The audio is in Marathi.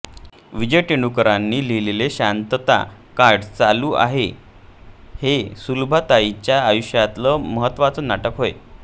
विजय तेंडुलकरांनी लिहिलेले शांतता कोर्ट चालू आहे हे सुलभाताईंच्या आयुष्यातलं महत्त्वाचे नाटक होय